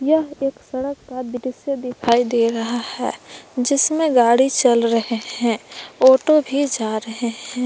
यह एक सड़क का दृश्य दिखाई दे रहा है जिसमें गाड़ी चल रहे हैं ऑटो भी जा रहे हैं।